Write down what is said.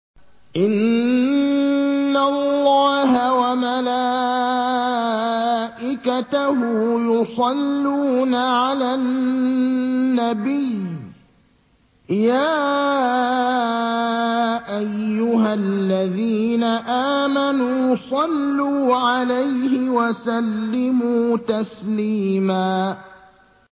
إِنَّ اللَّهَ وَمَلَائِكَتَهُ يُصَلُّونَ عَلَى النَّبِيِّ ۚ يَا أَيُّهَا الَّذِينَ آمَنُوا صَلُّوا عَلَيْهِ وَسَلِّمُوا تَسْلِيمًا